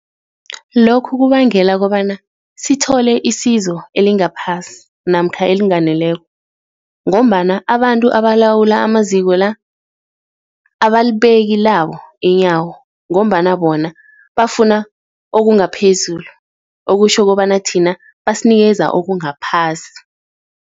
Lokhu kubangela kobana sithole isizo elingaphasi namkha elinganeleko ngombana abantu abalawulako amaziko-la, abalibeki labo inyawo ngombana bona bafuna okungaphezulu okutjho kobana thina, basinikeza okungakaphasi.